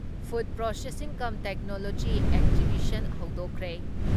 Food processing cum technology exhibition ꯍꯧꯗꯣꯛꯈ꯭ꯔꯦ ꯫